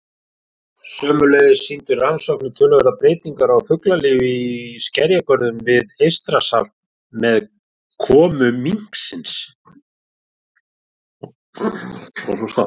Sömuleiðis sýndu rannsóknir töluverðar breytingar á fuglalífi í skerjagörðum við Eystrasalt með komu minksins.